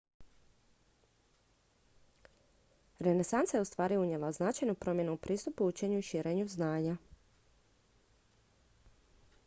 renesansa je ustvari unijela značajnu promjenu u pristupu učenju i širenju znanja